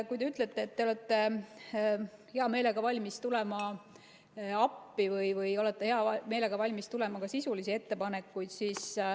Te ütlete, et te olete hea meelega valmis tulema appi või olete hea meelega valmis tegema ka sisulisi ettepanekuid.